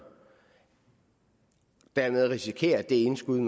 dermed risikere at det indskud